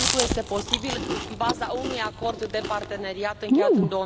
Acest lucru este posibil în baza unui Acord de parteneriat încheiat în